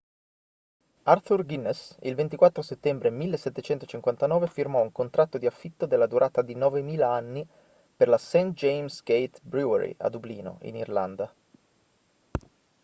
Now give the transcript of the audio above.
arthur guinness il 24 settembre 1759 firmò un contratto di affitto della durata di 9.000 anni per la st. james's gate brewery a dublino in irlanda